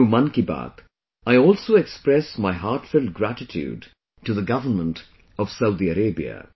Through Mann Ki Baat, I also express my heartfelt gratitude to the Government of Saudi Arabia